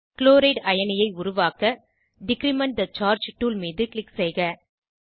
chloride அயனியை உருவாக்க decrement the charge tool மீது க்ளிக் செய்க